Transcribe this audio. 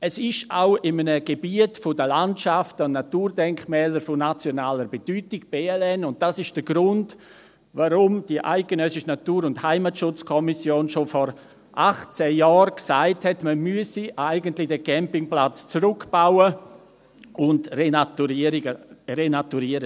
Es liegt auch in einem Gebiet des Bundesinventars der Landschaften und Naturdenkmäler von nationaler Bedeutung (BLN), und das ist der Grund, warum die ENHK schon vor 18 Jahren sagte, man müsse diesen Campingplatz eigentlich zurückbauen und renaturieren.